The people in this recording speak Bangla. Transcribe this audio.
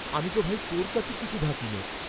কনক আমি তো ভাই, তোর কাছে কিছু ঢাকি নে।